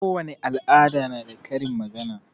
Kowani al'ada na da karin magana.